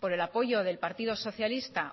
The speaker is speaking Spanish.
por el apoyo del partido socialista